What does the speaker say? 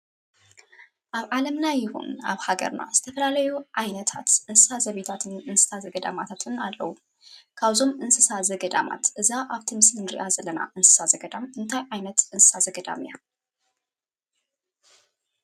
ኣብ ዓለምና ይኹን ኣብ ሃገርና ዝተፈላለዩ ዓይነታት እንስሳ ዘቤታትን እንስሳ ዘገዳማትን ኣለዉ፡፡ ካብዞም እንስሳ ዘገዳማታት እዛ ኣብ ምስሊ ንሪኣ ዘለና እንስሳ ዘገዳም እንታይ ዓይነት እንስሳ ዘገዳም እያ?